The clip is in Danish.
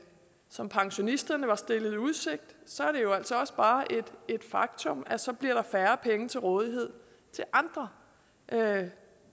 som pensionisterne var stillet i udsigt så er det jo altså også bare et faktum at så bliver der færre penge til rådighed til andre